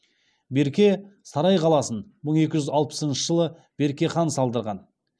берке сарай қаласын мың екі жүз алпысыншы жылы берке хан салдырған